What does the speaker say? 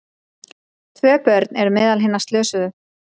Tvö börn eru meðal hinna slösuðu